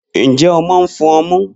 Njẹ ọmọ n fun ọmu?